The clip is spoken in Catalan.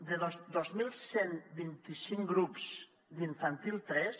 de dos mil cent i vint cinc grups d’infantil tres